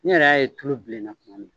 Ne yɛrɛ y'a ye tulu bilenna.